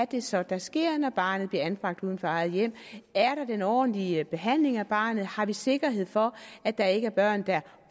det så er der sker når barnet bliver anbragt uden for eget hjem er der den ordentlige behandling af barnet har vi sikkerhed for at der ikke er børn der